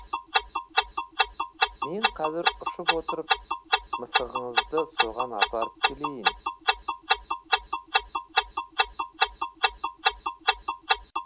мен қазір ұшып отырып мысығыңызды соған апарып келейін